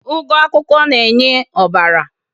ugu akwukwo enhances ọbara